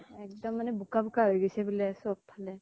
একদম মানে বোকা বোকা হৈ গৈছে বুলে, চব ফালে